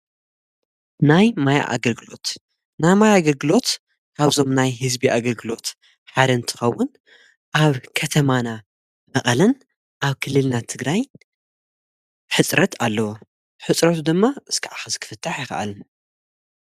ናይ ማይ ኣገርግሎት ና ማይ ኣገልግሎት ኻብዞም ናይ ሕዝቢ ኣገልግሎት ሓደ እትኸውን ኣብ ከተማና እቐለን ኣብ ክልልናት እትግራይን ሕጽረት ኣለዎ ሕጽረቱ ድማ ዝከዓ ኽዝክፍታሕ ይኸኣልን።